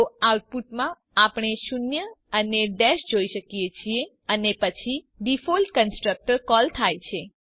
તો આઉટપુટમાં આપણે શૂન્ય અને ડેશ જોઈએ છીએ અને પછી ડિફોલ્ટ કન્સ્ટ્રક્ટર કોલ થાય છે